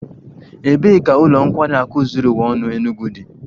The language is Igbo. Ebee ka ụlọ nkwari akụ zuru ụwa ọnụ Enugwu dị?